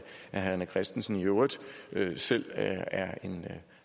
herre rené christensen i øvrigt selv er en